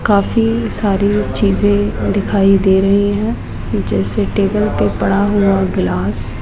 काफी सारी चीजें दिखाई दे रही है जैसे टेबल पे पड़ा हुआ गिलास ।